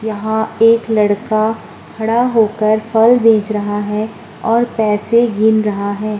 यहाँ एक लड़का खड़ा होकर फल बेच रहा है और पैसे गिन रहा है।